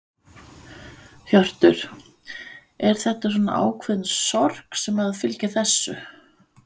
Hjörtur: Er þetta svona ákveðin sorg sem að fylgir þessu?